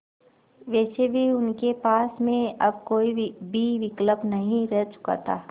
वैसे भी उनके पास में अब कोई भी विकल्प नहीं रह चुका था